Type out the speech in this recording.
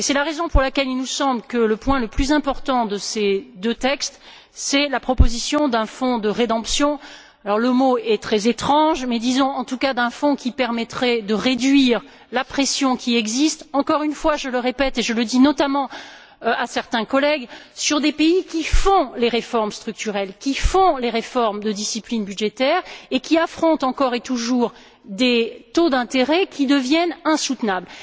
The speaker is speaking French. C'est la raison pour laquelle il nous semble que le point le plus important de ces deux textes, c'est la proposition d'un fonds de rédemption le mot est très étrange disons en tout cas, d'un fonds qui permettrait de réduire la pression qui existe encore une fois, je le répète et je le dis notamment à certains collègues sur des pays qui font les réformes structurelles, qui font les réformes de discipline budgétaire et qui affrontent encore et toujours des taux d'intérêt qui deviennent insoutenables.